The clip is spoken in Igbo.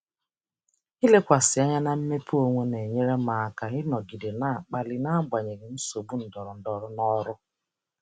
Ilekwasị anya na mmepe onwe m na-enyere m aka ịnọgide na-akpali n'agbanyeghị nsogbu ndọrọndọrọ n'ọrụ.